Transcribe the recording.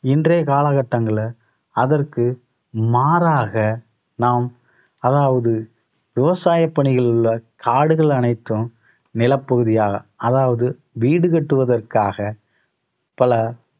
இன்றைய காலகட்டங்கள்ல அதற்கு மாறாக நாம் அதாவது விவசாய பணிகளில் உள்ள காடுகள் அனைத்தும் நிலப்பகுதியாக அதாவது வீடு கட்டுவதற்காக பல